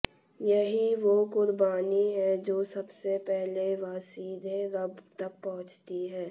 यही वो कुर्बानी है जो सबसे पहले व सीधे रब तक पहुंचती है